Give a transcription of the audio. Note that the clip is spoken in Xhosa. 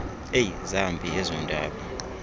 eyi zambi ezondaba